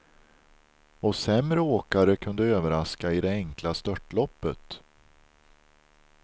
Och sämre åkare kunde överraska i det enkla störtloppet.